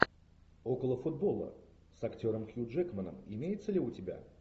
около футбола с актером хью джекманом имеется ли у тебя